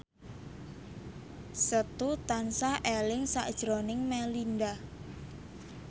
Setu tansah eling sakjroning Melinda